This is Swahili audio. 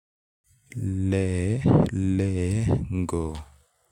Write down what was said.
Le-le-go.